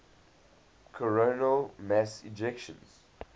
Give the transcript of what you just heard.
coronal mass ejections